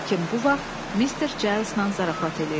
Həkim bu vaxt Mr. Giles-lə zarafat eləyirdi.